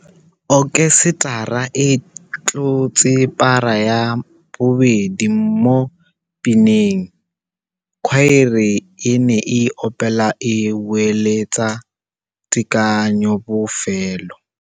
Okhesetara e tlotse para ya bobedi mo pineng. Khwaere e ne e opela e boeletsa tekanyô bofelô.